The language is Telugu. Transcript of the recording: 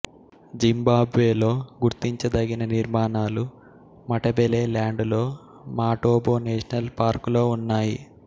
జింబాబ్వేలో గుర్తించదగిన నిర్మాణాలు మటబెలెల్యాండులో మాటోబో నేషనల్ పార్కులో ఉన్నాయి